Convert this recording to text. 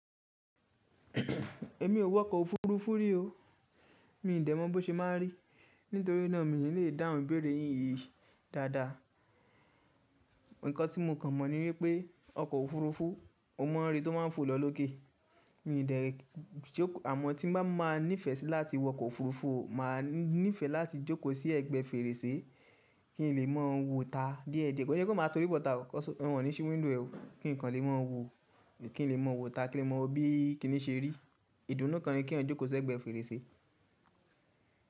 Èmi ò wọkọ̀ òfuurufú rí o. Mi ò dè mọ bó ṣe máa ń rí. Nítorí náà mi ò lè dáhùn béèrè yìí dáadáa. Ǹkan tí mo kàn mọ̀ ní wípé ọkọ̀ òfuurufú, o mọ̀ rí tó máa ń fò lọ lókè. Àmọ́ tí n bá máa nífẹ̀ẹ́ sí láti wọkọ̀ òfuurufú, máa nífẹ̀ẹ́ láti jókòó sí ẹ̀gbẹ́ fèrèsé kí n lè mọ̀ wó ta díẹ̀díẹ̀. Kọ́ se pe ma torí bọ̀ta 'cos, wọn ò ní sí wíndò è. Kí nìkan lè mọ̀ wó ta, kí n lè mọ̀ bí kíni ṣe rí. Ìdùnnú kan ni kí wọ́n jókòó sí ẹ̀gbẹ́ fèrèsé.